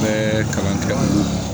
Bɛɛ kalan kɛ